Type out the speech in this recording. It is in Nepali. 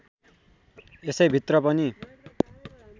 यसै भित्र पनि